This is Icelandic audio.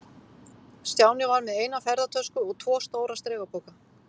Stjáni var með eina ferðatösku og tvo stóra strigapoka.